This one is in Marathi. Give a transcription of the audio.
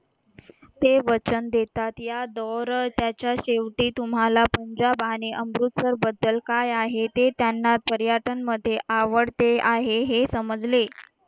ते वचन देतात या दोर त्याच्या शेवटी तुम्हाला पंजाब आणि अमृतसर बद्दल काय आहे ते त्यांना पर्यटन मध्ये आवडते आहे हे समजले